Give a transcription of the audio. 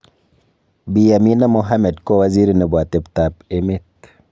Bi Amina Mohammed kowaziri nebo atebtak emet.